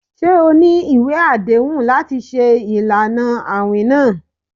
Ṣe o ni iwe adehun lati ṣe ilana awin naa?